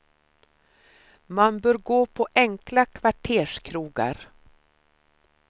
Man bör gå på enkla kvarterskrogar.